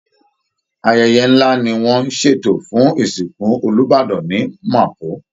Ayẹyẹ ńlá ni wọ́n ń ṣètò fún ìsìnkù Olúbàdàn ní Mapo